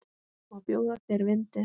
Má bjóða þér vindil?